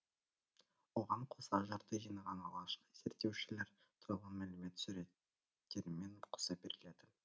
оған қоса жырды жинаған алғашқы зерттеушілер туралы мәлімет суреттерімен қоса беріледі